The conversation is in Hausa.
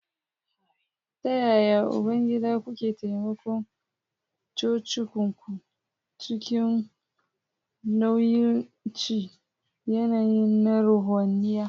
...Ta yaya, Ubangida, kuke taimakon cocinku cikin mawuyacin yanayi na ruhaniya?